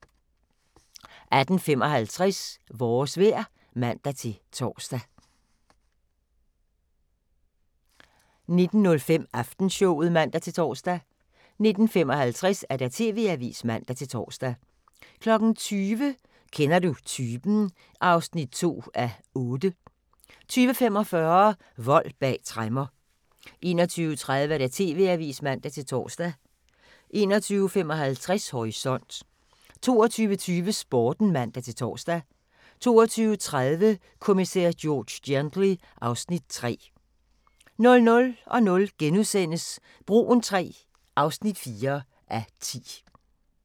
18:55: Vores vejr (man-tor) 19:05: Aftenshowet (man-tor) 19:55: TV-avisen (man-tor) 20:00: Kender du typen? (2:8) 20:45: Vold bag tremmer 21:30: TV-avisen (man-tor) 21:55: Horisont 22:20: Sporten (man-tor) 22:30: Kommissær George Gently (Afs. 3) 00:00: Broen III (4:10)*